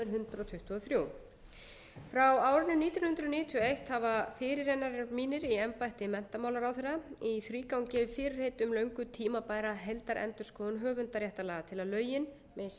tuttugu og þrjú frá árinu nítján hundruð níutíu og eitt hafa fyrirrennarar mínir í embætti menntamálaráðherra í þrígang gefið fyrirheit um löngu tímabæra heildarendurskoðun höfundaréttarlaga til að lögin megi samræmast